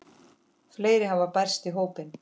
Fleiri hafa bæst í hópinn.